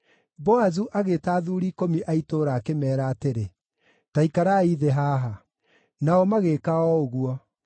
Boazu agĩĩta athuuri ikũmi a itũũra akĩmeera atĩrĩ, “Ta ikarai thĩ haha!” Nao magĩĩka o ũguo.